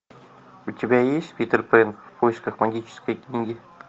у тебя есть питер пэн в поисках магической книги